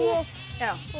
og